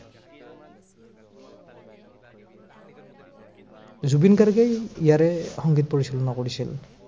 জুবিন গাৰ্গেই ইয়াৰে সংগীত পৰিচালনা কৰিছিল।